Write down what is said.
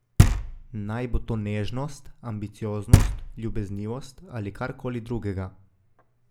Naj bo to nežnost, ambicioznost, ljubeznivost ali kar koli drugega.